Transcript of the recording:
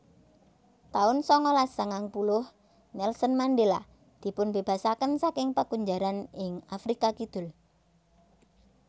taun sangalas sangang puluh Nelson Mandela dipunbébasaken saking pakunjaran ing Afrika Kidul